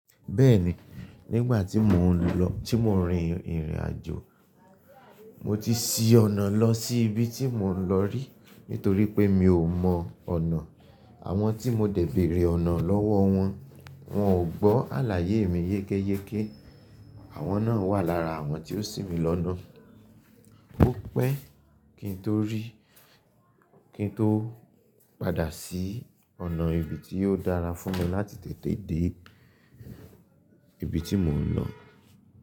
Bẹ́ẹ̀ni, nígbà tí mò ń lọ, tí mò ń rin ìrìnàjò, mo ti ṣí ọ̀nà lọ sí ibi tí mò ń lọ rí nítorí pé mi ò mọ ọ̀nà. Àwọn tí mo dẹ̀ bèrè ọ̀nà lọ́wọ́ wọn, wọ́n ò gbọ́ àlàyé mi yékéyéké. Àwọn náà wà lára àwọn tí ó sì mi lọ́nà. Ó pẹ́ kí n tó rí, kí n tó padà ṣí ọ̀nà ibi tí yóò dára fún mi láti tètè dé ibi tí mò ń lọ.